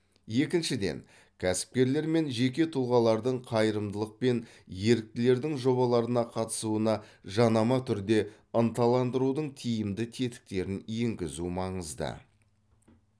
екіншіден кәсіпкерлер мен жеке тұлғалардың қайырымдылық пен еріктілердің жобаларына қатысуына жанама түрде ынталандырудың тиімді тетіктерін енгізу маңызды